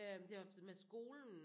Øh det var med skolen